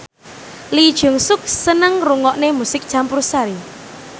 Lee Jeong Suk seneng ngrungokne musik campursari